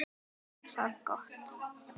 Ekki er það gott.